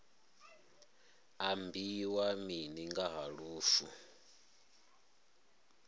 ambiwa mini nga ha lufu